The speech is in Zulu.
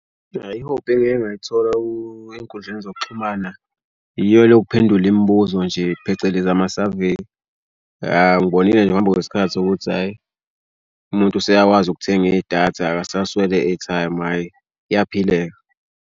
Hhayi ihobhi engike ngayithola ey'nkundleni zokuxhumana iyo le yophendula imibuzo nje phecelezi amasaveyi. Awu ngibonile ngokuhamba kwesikhathi ukuthi hhayi umuntu useyakwazi ukuthenga idatha akasaswele airtime hhayi kuyaphileka.